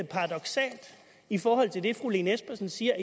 paradoksalt i forhold til det fru lene espersen siger